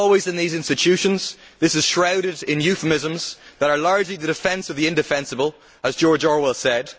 As always in these institutions, this is shrouded in euphemisms that are largely the defence of the indefensible', as George Orwell said.